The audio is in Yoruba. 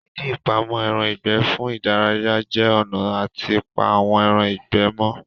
Ìdí ìpamọ́ ẹran ìgbẹ́ fún ìdárayá jẹ́ ọ̀nà àti pa àwọn ẹran ìgbẹ́ mọ́